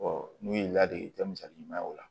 n'u ye ladilikan misali ɲuman ye o la